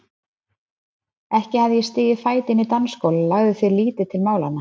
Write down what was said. Ekki hafði ég stigið fæti inn í dansskóla og lagði því lítið til málanna.